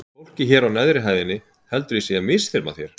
Fólkið hér á neðri hæðinni heldur að ég sé að misþyrma þér